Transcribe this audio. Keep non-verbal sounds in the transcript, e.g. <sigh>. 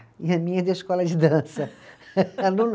E a minha é da Escola de Dança. <laughs> aluna